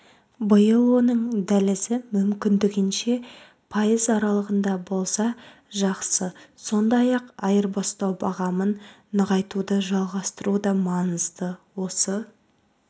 биыл оның дәлізі мүмкіндігінше пайыз аралығында болса жақсы сондай-ақ айырбастау бағамын нығайтуды жалғастыру да маңызды осы